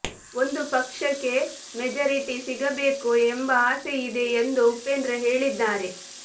ಒಂದು ಪಕ್ಷಕ್ಕೆ ಮೆಜಾರಿಟಿ ಸಿಗಬೇಕು ಎಂಬ ಆಸೆಯಿದೆ ಎಂದು ಉಪೇಂದ್ರ ಹೇಳಿದ್ದಾರೆ